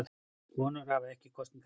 Konur hafa ekki kosningarétt.